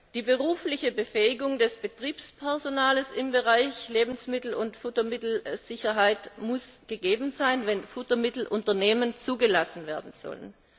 Die berufliche Befähigung des Betriebspersonals im Bereich Lebensmittel und Futtermittelsicherheit muss gegeben sein, wenn Futtermittelunternehmen zugelassen werden sollen.